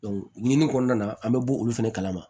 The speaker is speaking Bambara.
ɲinini kɔnɔna na an bɛ bɔ olu fɛnɛ kalama